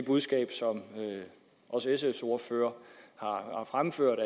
budskab som også sfs ordfører har fremført